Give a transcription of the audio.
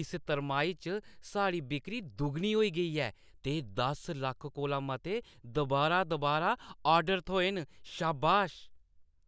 इस तरमाही च साढ़ी बिक्करी दुगनी होई ऐ ते दस लक्ख कोला मते दुबारा-दुबारा ऑर्डर थ्होए न, शाबाश।